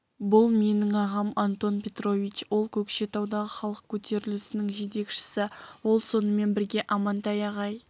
бұл менің ағам антон петрович ол көкшетаудағы халық көтерілісінің жетекшісі ол сонымен бірге амантай ағай